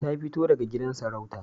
Ta fito daga gidan sarauta